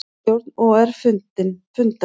Stjórn OR fundar